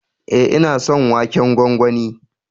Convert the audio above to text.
E, ina son waken gwangwani.